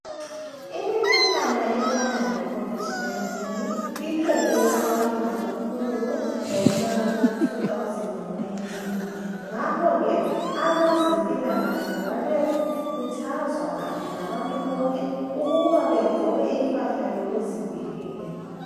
imikhuhlane efana lecovid 19 iqede abantu kakhulu ngomnyaka 2019 ngakho ke abeze mpilakahle babekhuthazwa kanye labantu bonke uma begqoke impahla zokuzivikela.